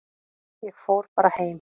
Ég fór bara heim.